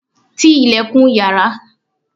ti ilẹ̀kùn yàrá